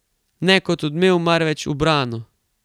Ne kot odmev, marveč ubrano.